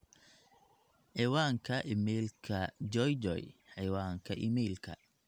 ciwaanka iimaylka joejoe ciwaanka iimaylka